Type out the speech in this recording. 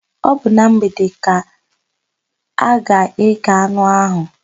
Ọ bụ na mgbede ka a ga-ékè anụ áhụ̀.